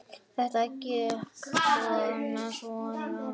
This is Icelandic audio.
Þetta gekk svona og svona.